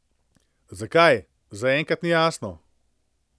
Zakaj, zaenkrat ni jasno.